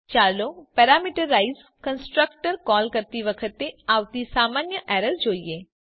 ચાલો parameterize constructor call કરતી વખતે આવતી સામાન્ય એરર જોઈએ